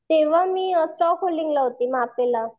तेंव्हा मी स्टॉक होल्डिंगला होती